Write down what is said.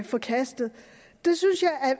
forkastet det synes jeg